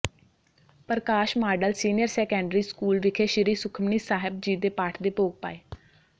ਪ੍ਰਕਾਸ਼ model senior secondary school ਵਿਖੇ ਸ੍ਰੀ ਸੁਖਮਨੀ ਸਾਹਿਬ ਜੀ ਦੇ ਪਾਠ ਦੇ ਭੋਗ ਪਾਏ